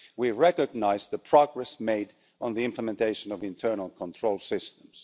We recognise the progress made on the implementation of internal control systems.